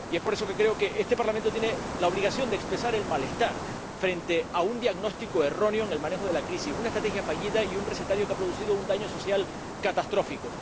Y, por eso, creo que este Parlamento tiene la obligación de expresar el malestar frente a un diagnóstico erróneo en el manejo de la crisis, una estrategia fallida y un recetario que ha producido un daño social catastrófico.